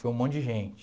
Foi um monte de gente.